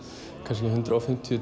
kannski tvö hundruð og fimmtíu